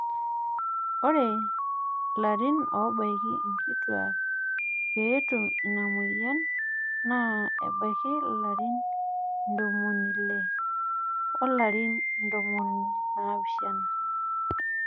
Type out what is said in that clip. ore ilarin oobaiki inkituak pee etum ina moyian naa ebaiki ilarin intomoni ile o larin ntomoni naapishana